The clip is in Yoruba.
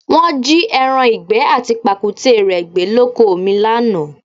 Wọ́n jí ẹran ìgbẹ́ àti pàkúté rẹ gbé lóko mi lánàá